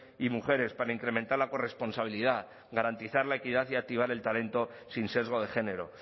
y mujeres para incrementar la corresponsabilidad garantizar la equidad y activar el talento sin sesgo de género